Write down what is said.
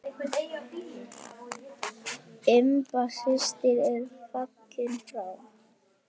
Imba systir er fallin frá.